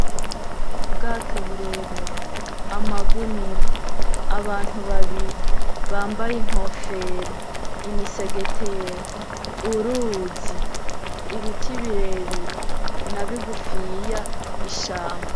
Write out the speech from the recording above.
Ubwato burebure , amagunira , abantu babiri bambaye inkofero ,imisegetera ,uruzi, ibiti birebire, nabigufiya , ishamba.